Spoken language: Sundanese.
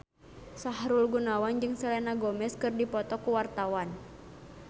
Sahrul Gunawan jeung Selena Gomez keur dipoto ku wartawan